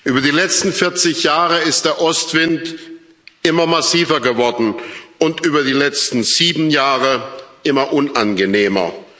Über die letzten 40 Jahre ist der Ostwind immer massiver geworden und über die letzten sieben Jahre immer unangenehmer.